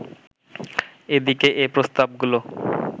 এদিকে এ প্রস্তাব গুলো